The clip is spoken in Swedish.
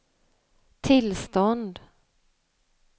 tillstånd